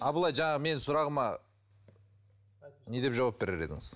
абылай жаңа менің сұрағыма не деп жауап берер едіңіз